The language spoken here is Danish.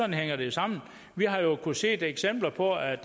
hænger det jo sammen vi har jo kunnet se eksempler på at